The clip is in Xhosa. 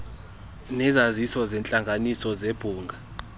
nesaziso seentlanganiso zebhunga